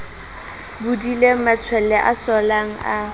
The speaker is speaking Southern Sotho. bodileng matshwele a sollang a